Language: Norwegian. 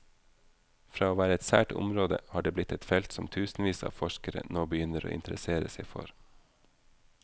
Fra å være et sært område, har det blitt et felt som tusenvis av forskere nå begynner å interessere seg for.